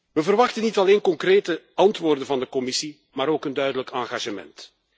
We verwachten niet alleen concrete antwoorden van de Commissie, maar ook een duidelijk engagement.